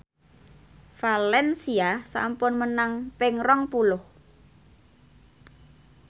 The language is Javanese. valencia sampun menang ping rong puluh